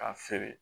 K'a feere